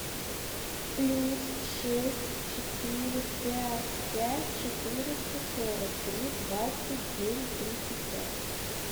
плюс шесть четыре пять пять четыреста сорок три двадцать девять тридцать пять